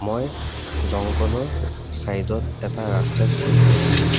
মই জংঘলৰ চাইড ত এটা ৰাস্তাৰ চুক দেখিছোঁ।